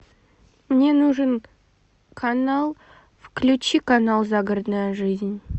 мне нужен канал включи канал загородная жизнь